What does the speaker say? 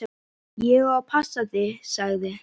Ég á að passa þig, sagði